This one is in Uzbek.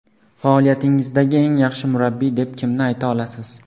Faoliyatingizdagi eng yaxshi murabbiy deb kimni ayta olasiz?